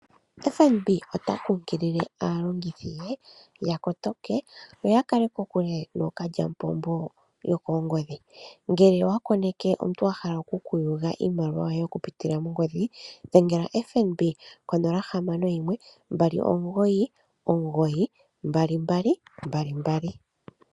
FNB ota kunkilile aalongithi ye ya kotoke, yo ya kale kokule nookalyampombo yokoongodhi. Ngele owa koneke omuntu a hala oku ku yuga iimaliwa yoye oku pitila kongodhi dhengela FNB konomola yongodhi 0612992222.